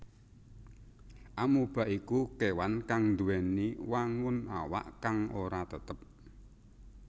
Amoeba iku kéwan kang nduwèni wangun awak kang ora tetep